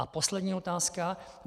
A poslední otázka.